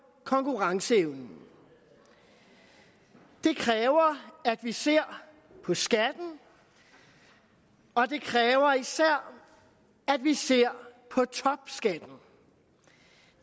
konkurrenceevnen det kræver at vi ser på skatten og det kræver især at vi ser på topskatten